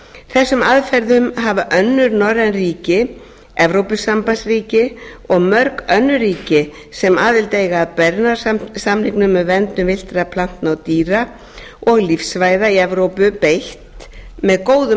þessum aðferðum hafa önnur norræn ríki evrópusambandsríki og mörg önnur ríki sem aðild eiga að bernarsamningnum um verndun villtra plantna og dýra og lífsvæða í evrópu beitt með góðum